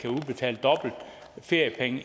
udbetale feriepenge